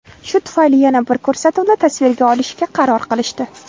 Shu tufayli yana bir ko‘rsatuvni tasvirga olishga qaror qilishdi.